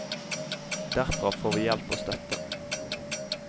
Derfra får vi hjelp og støtte.